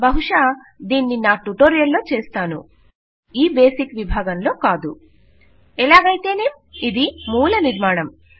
బహుశా దీన్నినా ట్యుటోరియల్ లో చేస్తాను ఈ మూల విభాగములో కాదు ఎలాగైతేనేం ఇది మూలనిర్మాణం